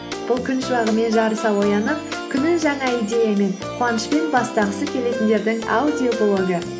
бұл күн шуағымен жарыса оянып күнін жаңа идеямен қуанышпен бастағысы келетіндердің аудиоблогы